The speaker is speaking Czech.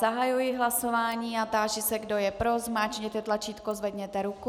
Zahajuji hlasování a táži se, kdo je pro, zmáčkněte tlačítko, zvedněte ruku.